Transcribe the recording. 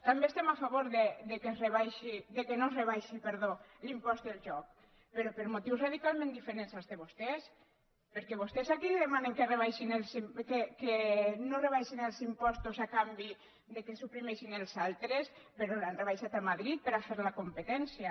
també estem a favor que no es rebaixi l’impost del joc però per motius radicalment diferents als de vos·tès perquè vostès aquí demanen que no es rebaixin els impostos a canvi que suprimeixin els altres però l’han rebaixat a madrid per fer la competència